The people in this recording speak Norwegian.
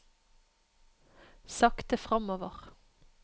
sakte fremover